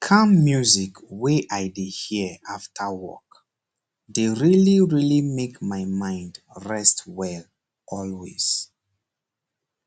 calm music wey i dey hear after work dey really really make my mind rest well always